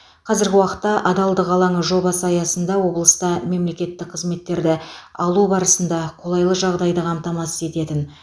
қазіргі уақытта адалдық алаңы жобасы аясында облыста мемлекеттік қызметтерді алу барысында қолайлы жағдайды қамтамасыз ететін